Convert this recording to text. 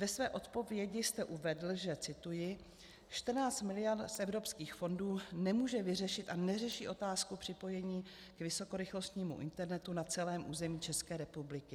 Ve své odpovědi jste uvedl, že - cituji: "14 miliard z evropských fondů nemůže vyřešit a neřeší otázku připojení k vysokorychlostnímu internetu na celém území České republiky.